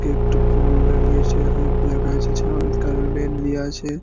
কে একটা পুল দাড়িয়ে আছে অনেকগুলা গাছ আছে কারবেট দেয়া আছে।